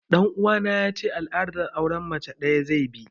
Ɗan uwana ya ce al'adar auren mace ɗaya zai bi